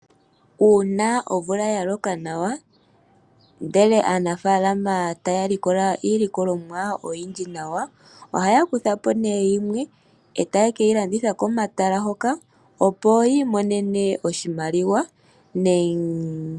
Uuna omvula ya loka nawa ndele aanafaalama taya likola iilikolomwa oyindji nawa, ohaya kuthapo nee yimwe eta yeke yilanditha komatala hoka, opo yi imonene oshimaliwa.